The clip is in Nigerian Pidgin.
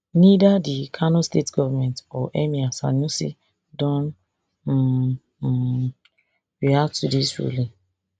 neither di kano state goment or emir sanusi don um um react to dis ruling